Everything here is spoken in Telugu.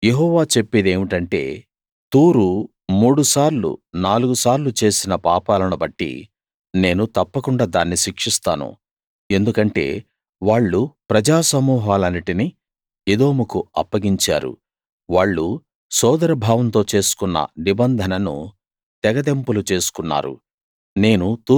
యెహోవా చెప్పేదేమిటంటే తూరు మూడు సార్లు నాలుగు సార్లు చేసిన పాపాలను బట్టి నేను తప్పకుండా దాన్ని శిక్షిస్తాను ఎందుకంటే వాళ్ళు ప్రజా సమూహాలన్నిటినీ ఎదోముకు అప్పగించారు వాళ్ళు సోదర భావంతో చేసుకున్న నిబంధనను తెగతెంపులు చేసుకున్నారు